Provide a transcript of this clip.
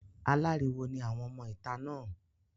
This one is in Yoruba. Aláriwo ni àwọn ọmọ ìta náà.